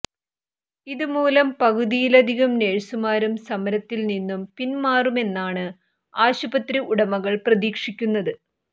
ഇത് മൂലം പകുതിയിലധികം നേഴ്സുമാരും സമരത്തിൽ നിന്നും പിന്മാറുമെന്നാണ് ആശുപത്രി ഉടമകൾ പ്രതീക്ഷിക്കുന്നത്